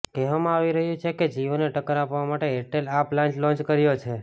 કહેવામાં આવી રહ્યું છે કે જિયોને ટક્કર આપવા માટે એરટેલે આ પ્લાન લોન્ચ કર્યો છે